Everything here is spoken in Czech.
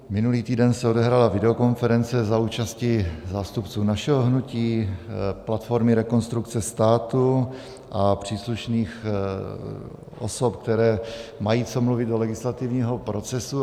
Minulý týden se odehrála videokonference za účasti zástupců našeho hnutí, platformy Rekonstrukce státu a příslušných osob, které mají co mluvit do legislativního procesu.